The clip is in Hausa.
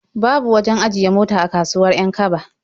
Babu wajen ajiye mota a kasuwar 'Yan-kaba.